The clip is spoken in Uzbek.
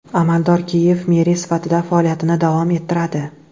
Amaldor Kiyev meri sifatida faoliyatini davom ettiradi.